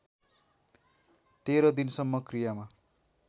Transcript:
१३ दिनसम्म क्रियामा